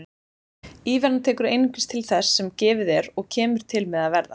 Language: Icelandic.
Íveran tekur einungis til þess sem gefið er og kemur til með að verða.